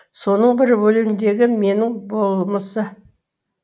соның бірі өлеңдегі менің болмысы